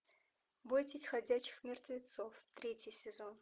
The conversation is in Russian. бойтесь ходячих мертвецов третий сезон